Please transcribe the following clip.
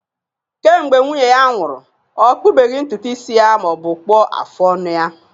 Kemgbe nwunye ya nwụrụ, ọ kpụbeghị ntutu isi ya ma ọ bụ kpụọ afụ ọnụ ya